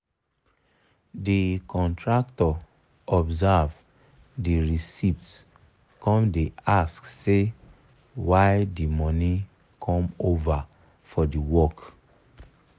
de contractor observe the reciept come da ask say why the money come over for the work